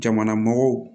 Jamanamɔgɔw